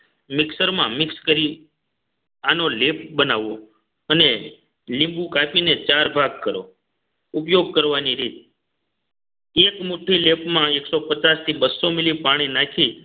મિક્સરમાં mix કરી આનો લેપ બનાવવો અને લીંબુ કાપીને ચાર ભાગ કરો ઉપયોગ કરવાની રીત એક મુઠ્ઠી લેપ માં દોઠસો થી બસો milli પાણી નાખી